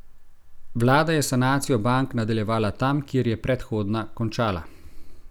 Vlada je sanacijo bank nadaljevala tam, kjer je predhodna končala.